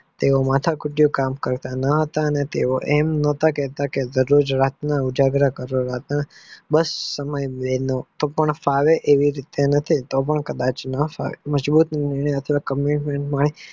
તેઓ માથાકૂટ માં કામ કરતા ના હતા તેઓ આમ ન કહેતા હતા કે તેઓએ ઉજાગરા ના સમય અમને ના ફાવે કે કદાચ ના ફાવે.